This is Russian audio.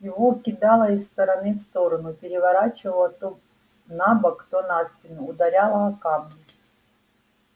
его кидало из стороны в сторону переворачивало то на бок то на спину ударяло о камни